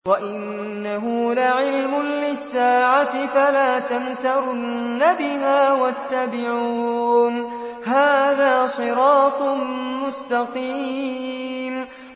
وَإِنَّهُ لَعِلْمٌ لِّلسَّاعَةِ فَلَا تَمْتَرُنَّ بِهَا وَاتَّبِعُونِ ۚ هَٰذَا صِرَاطٌ مُّسْتَقِيمٌ